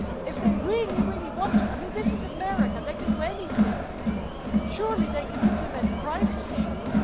If they really want to and this is America, they can do anything surely they can implement the Privacy Shield?